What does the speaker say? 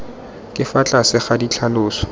ka fa tlase ga ditlhaloso